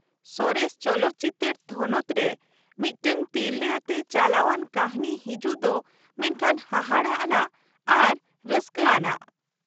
ᱥᱚᱨᱮᱥ ᱪᱚᱞᱚᱛ ᱪᱤᱛᱟ.ᱨ ᱛᱷᱚᱱᱚᱛ ᱨᱮ ᱢᱤᱫᱴᱟᱝ ᱛᱤᱨᱞᱟ. ᱟᱛᱮ ᱪᱟᱞᱟᱣᱟᱱ ᱠᱟ.ᱦᱱᱤ ᱦᱤᱡᱩᱜ ᱫᱚ ᱢᱮᱱᱠᱷᱟᱱ ᱦᱟᱦᱟᱲᱟᱜ ᱟᱱᱟᱜ ᱟᱨ ᱨᱟ.ᱥᱠᱟ. ᱟᱱᱟᱜ ᱾